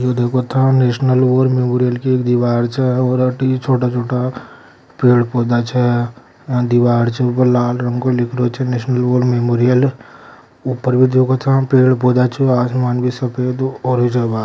यो देखो ता national war memorial की एक दिवार छे और अति छोटा -छोटा पेड़-पौधा छे दिवार छे उपर लाल रंग के लिखलो छे नेशनल वॉर मेमोरियल ऊपर भी दिखो थे पेड़-पौधा छे आसमान भी सफेद हो और रिजा बा--